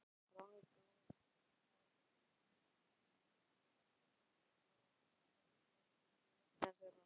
Ranglátt að ég skuli ekki hafa vitað um nöfn þeirra.